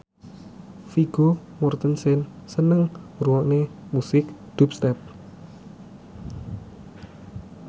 Vigo Mortensen seneng ngrungokne musik dubstep